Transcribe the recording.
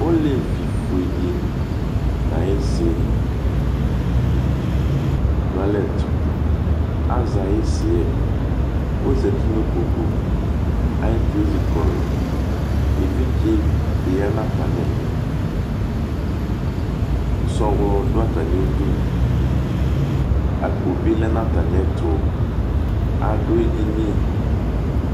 Ɔleviƒuedɩ ɲayisi dʊalɛdʊAzɛ ayisɩɛ, ɔzatɩ ɲikpoku Ayɩsɩɛ ezɩkɔlʊ Ɛvidze diya atamili Sɔlɔ dua ataɲɩdʊ, akpo, bɩlɛɲataɲɩrdʊ Adʊɛdɩɲɩ